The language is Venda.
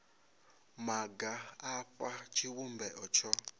maga a fha tshivhumbeo tsho